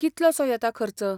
कितलोसो येता खर्च?